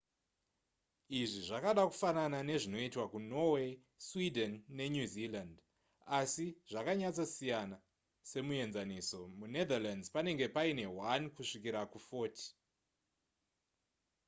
izvi zvakada kufanana nezvinoitwa kunorway sweden nenewzealand asi zvakanyatsosiyana semuenzaniso munetherlands panenge paine 1 kusvikira ku40